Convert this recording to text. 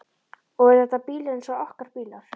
Og eru þetta bílar eins og okkar bílar?